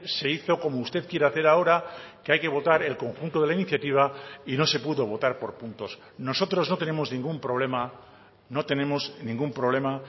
se hizo como usted quiere hacer ahora que hay que votar el conjunto de la iniciativa y no se pudo votar por puntos nosotros no tenemos ningún problema no tenemos ningún problema